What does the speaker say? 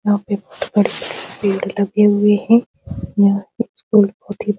यहां पे बहुत बड़े-बड़े पेड़ लगे हुए हैं यहां कुछ पेड़-पौधे --